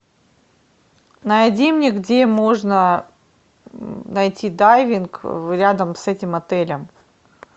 найди мне где можно найти дайвинг рядом с этим отелем